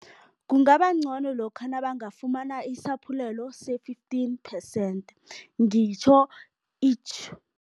Kungaba ngcono lokha nabangafumana isaphulelo se-fifteen percent, ngitjho